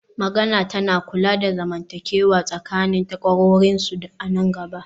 magana tana kula da zamantakewa tsakanin takwarorinsu a nan gaba